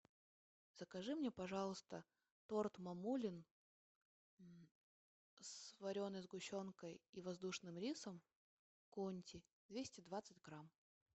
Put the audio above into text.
закажи мне пожалуйста торт мамулин с вареной сгущенкой и воздушным рисом конти двести двадцать грамм